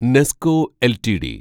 Nesco LTD